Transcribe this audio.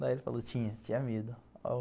Daí ele falou, tinha, tinha medo.